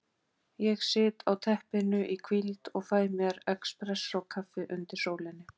Ég sit á teppinu í hvíld og fæ mér expressókaffi undir sólinni.